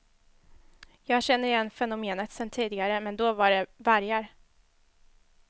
Jag känner igen fenomenet sen tidigare, men då var det vargar.